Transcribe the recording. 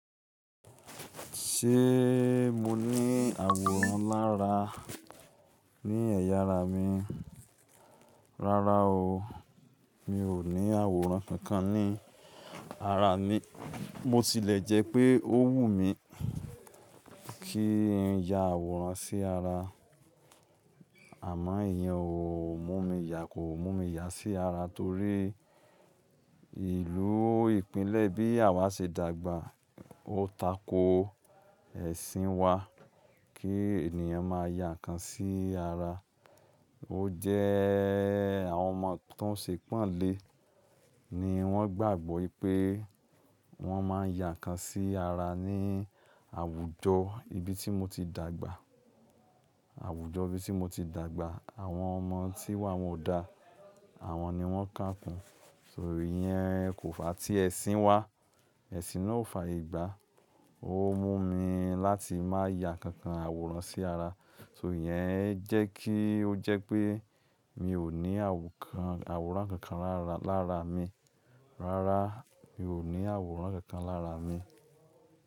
Ṣé mo ní àwòrán lára ní ẹ̀yà ara mi? Rárá o, mi ò ní àwòrán kankan ní ara mi. Mo tilẹ̀ jẹ́ pé ó wù mí kí n ya àwòrán sí ara, àmọ́ ìyẹn ò mú mi yà, ko mú mi yà sí ara torí ìlú ìpínlẹ̀ bí àwa ṣe dàgbà ó tako ẹ̀sìn wa kí ènìyàn má ya ǹkan sí ara. Ó jẹ́ àwọn ọmọ tó ń ṣe panlé ni wọ́n gbàgbọ́ pé wọ́n má n ya ǹkan sí ara ní àwùjọ ibi tí mo ti dàgbà. Àwùjọ ibi tí mo ti dàgbà, àwọn ọmọ tí wa won o da, àwọn ni wọ́n kàkun. So ìyẹn kò fà á tí ẹ̀sìn wa, ẹ̀sìn náà ò fayegbá. Ó mú mi láti má ya kankan àwòrán sí ara. So ìyẹn jẹ́ kí ó jẹ́ pé mi ò ní àwòrán kankan lára mi. Rárá, mi ò ní àwòrán kankan lára mi.